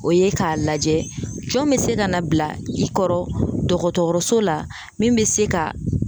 O ye ka lajɛ jɔn be se ka na bila i kɔrɔ dɔgɔtɔrɔso la min be se ka